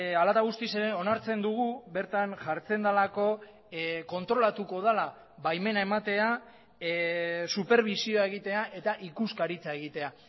hala eta guztiz ere onartzen dugu bertan jartzen delako kontrolatuko dela baimena ematea superbisioa egitea eta ikuskaritza egitea